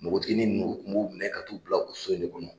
Npogotiginin ninnu u tun b'u inɛ ka t'u bila o so in de kɔnɔ